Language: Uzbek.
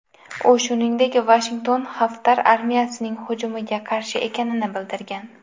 U shuningdek Vashington Xaftar armiyasining hujumiga qarshi ekanini bildirgan.